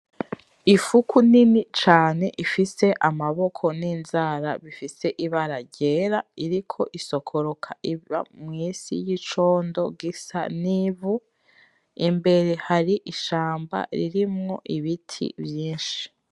Ifuku nini cane ifise Amaboko n'Inzara bifise Ibara ryera iriko isokoroka iva mw'isi yicondo gisa n'Ivu. Imbere hari ishamba ririmwo Ibiti vyinshi.